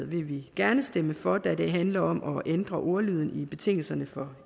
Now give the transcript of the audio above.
vil gerne stemme for den det handler om at ændre ordlyden i betingelserne for